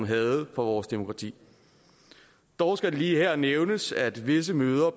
havde for vores demokrati dog skal det lige her nævnes at visse møder